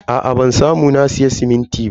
Aa ban samu na siya simintin ba.